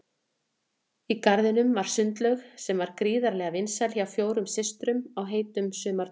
Í garðinum var sundlaug sem var gríðarlega vinsæl hjá fjórum systrum á heitum sumardögum.